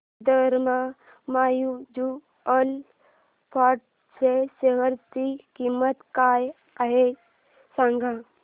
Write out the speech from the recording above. Sundaram mutual fund च्या share ची किंमत काय आहे सांगा